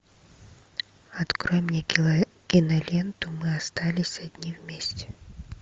открой мне киноленту мы остались одни вместе